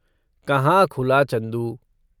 कहाँ खुला, चंदू।